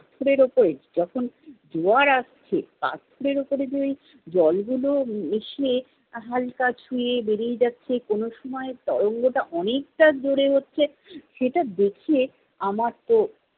পাথরের উপর যখন জোয়ার আসছে, পাথরের উপর যে ওই জলগুলো এসে হালকা হালকা ছুয়ে বেড়িয়ে যাচ্ছে, কোনো সময় তারল্য টা অনেকটা জোড়ে হচ্ছে সেটা দেখে আমার তো-